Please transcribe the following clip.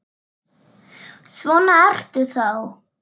Svona ertu þá!